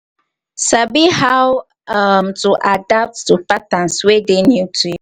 sabi how um to adapt to patterns wey dey new to you